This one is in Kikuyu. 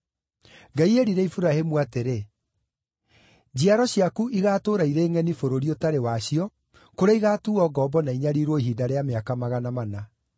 Ngai eerire Iburahĩmu atĩrĩ: ‘Njiaro ciaku igaatũũra irĩ ngʼeni bũrũri ũtarĩ wacio, kũrĩa igaatuuo ngombo na inyariirwo ihinda rĩa mĩaka magana mana.’